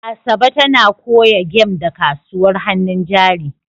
Asabe tana koya game da kasuwar hannun jari.